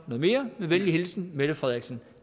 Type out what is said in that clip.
mere med venlig hilsen mette frederiksen